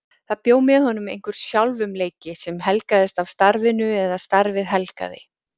Það bjó með honum einhver sjálfumleiki sem helgaðist af starfinu eða starfið helgaði.